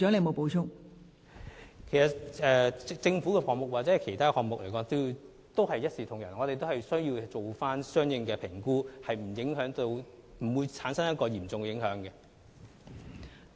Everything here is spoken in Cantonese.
我們其實對政府的項目和其他項目都是一視同仁，均會進行相應的評估，以防產生嚴重影響。